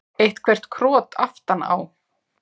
Eitthvert krot aftan á.